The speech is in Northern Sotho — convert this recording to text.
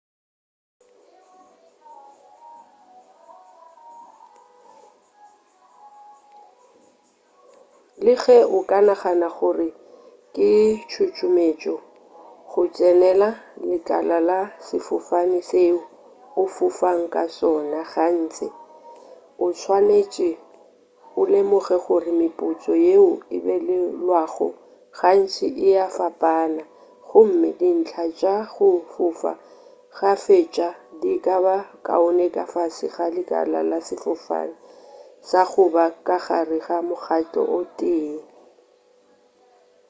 le ge o ka nagana gore ke tšotšometšo go tsenela lekala la sefofane seo o fofago ka sona gantši o swanetše o lemoge gore mephutso yeo e abelwago gantši ea fapana gomme dintlha tša go fofa kgafetša di ka ba kaone ka fase ga lekala la sefofane sa go ba ka gare ga mokgahlo o tee